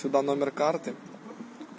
это номер карты